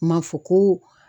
Ma fɔ ko